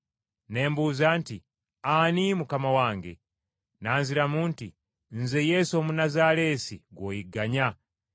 “Ne mbuuza nti, ‘Ani, Mukama wange?’ “N’anziramu nti, ‘Nze Yesu Omunnazaaleesi gw’oyigganya.’